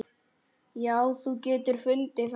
Já, þú getur fundið það.